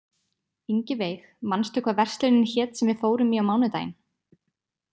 Ingiveig, manstu hvað verslunin hét sem við fórum í á mánudaginn?